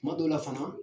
Kuma dɔw la fana